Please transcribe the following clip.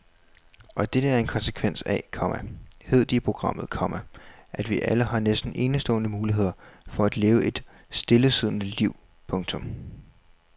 Og dette er en konsekvens af, komma hed det i programmet, komma at vi alle har næsten enestående muligheder for at leve et stillesiddende liv. punktum